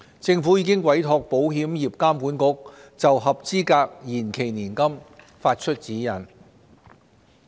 政府已經委託保險業監管局就合資格延期年金發出指引。